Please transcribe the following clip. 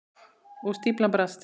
Og stíflan brast.